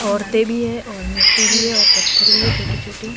औरतें भी हैं और मिट्टी भी है पत्थर भी हैं छोटे छोटे।